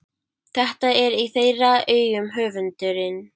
Þetta er í þeirra augum höfundurinn